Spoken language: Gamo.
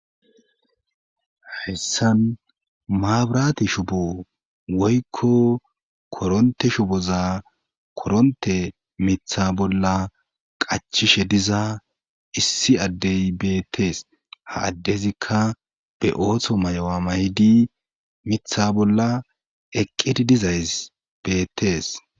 eHssan maabrate shubo woykko koronte shuboza koronte mitha bolla qachishe diza issi addey beettees ha addezikka be ootho may7owa maydi mitha bolla eqqedi dizay beettees